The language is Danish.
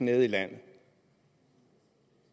nede i landet